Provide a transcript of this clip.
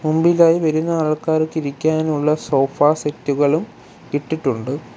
മുൻപിലായി വരുന്ന ആൾക്കാർക്ക് ഇരിക്കാനുള്ള സോഫ സെറ്റ് കളും ഇട്ടിട്ടുണ്ട്.